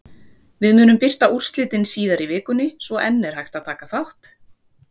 Við munum birta úrslitin síðar í vikunni svo enn er hægt að taka þátt!